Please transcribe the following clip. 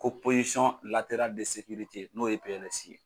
Ko n'o ye PLS ye.